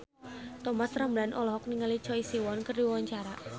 Thomas Ramdhan olohok ningali Choi Siwon keur diwawancara